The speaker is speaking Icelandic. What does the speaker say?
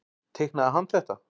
Teiknaði hann þetta?